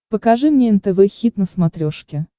покажи мне нтв хит на смотрешке